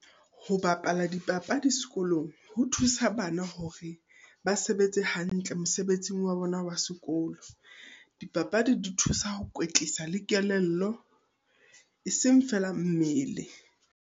Ho bapala dipapadi sekolong, ho thusa bana hore ba sebetse hantle mosebetsing wa bona wa sekolo. Dipapadi di thusa ho kwetlisa le kelello, e seng feela mmele.